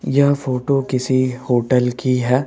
यह फोटो किसी होटल की है।